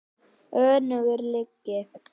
Önnur lygi.